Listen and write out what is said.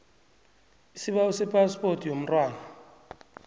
isibawo sephaspoti yomntwana